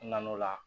N nan'o la